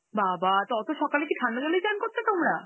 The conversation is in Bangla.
বাবা! তো অত সকালে কি ঠান্ডা জলেই চান করতে তোমরা?